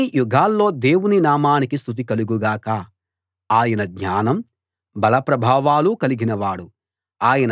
అన్ని యుగాల్లో దేవుని నామానికి స్తుతి కలుగు గాక ఆయన జ్ఞానం బల ప్రభావాలు కలిగినవాడు